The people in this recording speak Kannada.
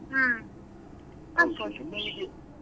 ಹ್ಮ್.